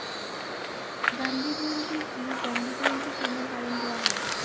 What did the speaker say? গান্ধী জয়ন্তী কী? গান্ধী জয়ন্তী কেন পালন করা হয়?